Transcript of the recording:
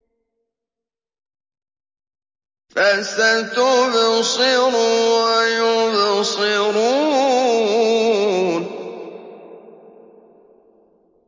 فَسَتُبْصِرُ وَيُبْصِرُونَ